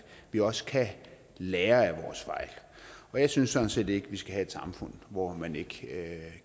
vi også kan lære af vores fejl og jeg synes sådan set ikke vi skal have et samfund hvor man ikke